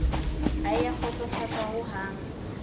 ha e a nkgotsofatsa hohang